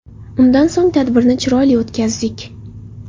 Undan so‘ng tadbirni chiroyli o‘tkazdik.